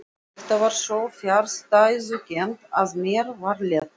Þetta var svo fjarstæðukennt að mér var létt.